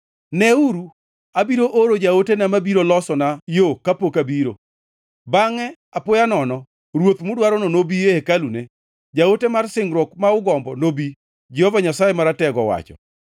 “Neuru, abiro oro jaotena mabiro losona yo kapok abiro. Bangʼe, apoya nono Ruoth mudwarono nobi e hekalune; jaote mar singruok, ma ugombo, nobi,” Jehova Nyasaye Maratego owacho.